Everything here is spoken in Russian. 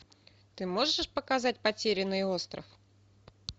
ты можешь показать потерянный остров